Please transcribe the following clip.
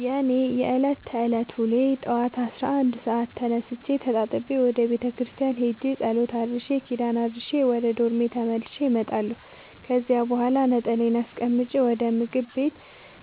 የእኔ የዕለት ተዕለት ውሎዬ ጠዋት አስራ አንድ ሰአት ተነስቼ ተጣጥቤ ወደ ቤተክርስቲያን ሄጄ ጸሎት አድርሼ ኪዳን አድርሼ ወደ ዶርሜ ተመልሼ እመጣለሁ ከዚያ በኋላ ነጠላዬን አስቀምጬ ወደ ምግብ ቤት